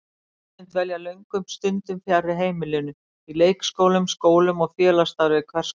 Börnin dvelja löngum stundum fjarri heimilinu, í leikskólum, skólum og félagsstarfi hvers konar.